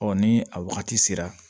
ni a wagati sera